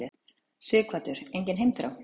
Sighvatur: Engin heimþrá?